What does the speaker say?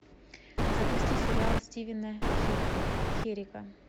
запусти сериал стивена херика